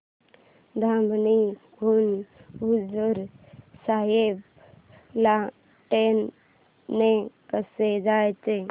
धामणी हून हुजूर साहेब ला ट्रेन ने कसं जायचं